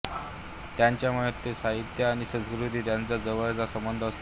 त्यांच्या मते साहित्य आणि संस्कृती यांचा जवळचा संबंध असतो